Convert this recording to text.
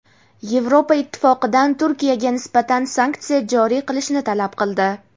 Yevropa Ittifoqidan Turikyaga nisbatan sanksiya joriy qilishni talab qildi.